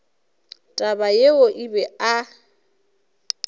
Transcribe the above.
taba yeo o be a